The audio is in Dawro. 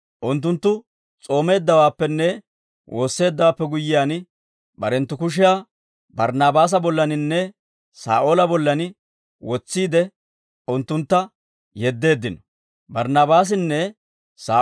Unttunttu s'oomeeddawaappenne woosseeddawaappe guyyiyaan, barenttu kushiyaa Barnaabaasa bollaninne Saa'oola bollan wotsiide, unttuntta yeddeeddino.